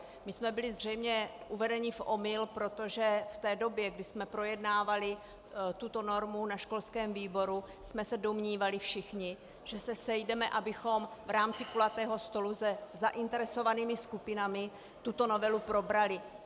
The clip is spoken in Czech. My jsme byli zřejmě uvedeni v omyl, protože v té době, kdy jsme projednávali tuto normu na školském výboru, jsme se domnívali všichni, že se sejdeme, abychom v rámci kulatého stolu se zainteresovanými skupinami tuto novelu probrali.